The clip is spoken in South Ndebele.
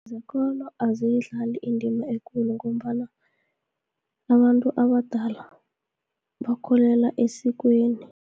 Zekolo aziyidlali indima ekulu, ngombana abantu abadala bakholela esikweni.